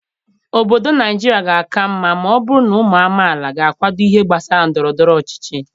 Obodo Naijiria ga-aka mma ma ọ bụrụ na ụmụ amaala ga-akwado ihe gbasara ndọrọ ndọrọ ọchịchị.